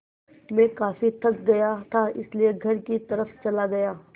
मैं काफ़ी थक गया था इसलिए घर की तरफ़ चला गया